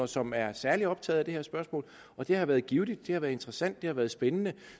som er særlig optaget af det her spørgsmål og det har været givtigt det har været interesssant det har været spændende